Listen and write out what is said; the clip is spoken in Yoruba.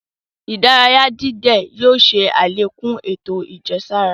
Ìdárayà dídẹ̀ yóò ṣè alẹ́kún ètò ajẹsara.